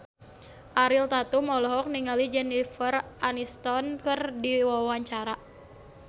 Ariel Tatum olohok ningali Jennifer Aniston keur diwawancara